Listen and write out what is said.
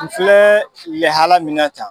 N filɛ lehala min na ta.